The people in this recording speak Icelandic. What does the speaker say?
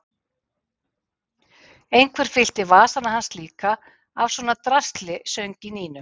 Einhver fyllti vasana hans líka af svona drasli söng í Nínu.